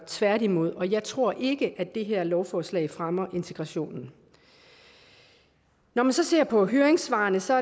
tværtimod jeg tror ikke at det her lovforslag fremmer integrationen når man ser på høringssvarene ser